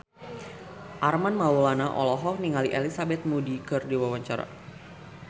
Armand Maulana olohok ningali Elizabeth Moody keur diwawancara